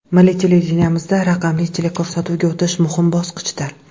Milliy televideniyemizda raqamli teleko‘rsatuvga o‘tish muhim bosqichdir.